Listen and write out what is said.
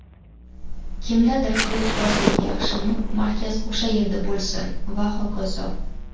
Kimdadir qilichbozlik yaxshimi, markaz o‘sha yerda bo‘lsin va hokazo.